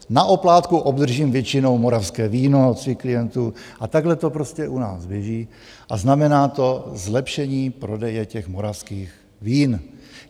Na oplátku obdržím většinou moravské víno od svých klientů, a takhle to prostě u nás běží a znamená to zlepšení prodeje těch moravských vín.